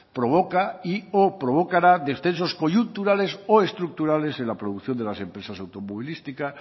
provoca y o provocará descensos coyunturales o estructurales en la producción de las empresas automovilística